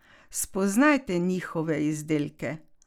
Spoznajte njihove izdelke!